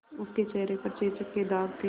उसके चेहरे पर चेचक के दाग थे